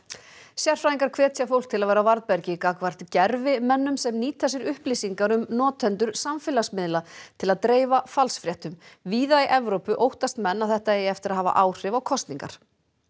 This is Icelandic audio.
sérfræðingar hvetja fólk til að vera á varðbergi gagnvart gervimennum sem nýta sér upplýsingar um notendur samfélagsmiðla til að dreifa falsfréttum víða í Evrópu óttast menn að þetta eigi eftir að hafa áhrif á kosningar